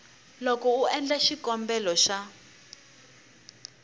loko u endla xikombelo xa